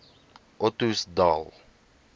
ottosdal